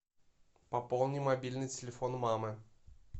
пополни мобильный телефон мамы